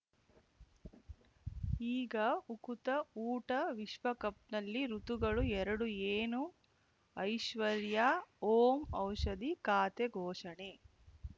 ಈಗ ಉಕುತ ಊಟ ವಿಶ್ವಕಪ್‌ನಲ್ಲಿ ಋತುಗಳು ಎರಡು ಏನು ಐಶ್ವರ್ಯಾ ಓಂ ಔಷಧಿ ಖಾತೆ ಘೋಷಣೆ